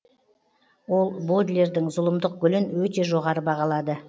ол бодлердің зұлымдық гүлін өте жоғары бағалады